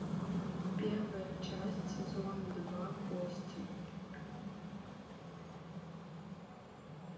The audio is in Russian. первая часть сезон два кости